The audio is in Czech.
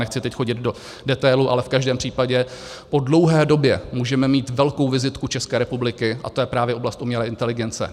Nechci teď chodit do detailů, ale v každém případě po dlouhé době můžeme mít velkou vizitku České republiky a tou je právě oblast umělé inteligence.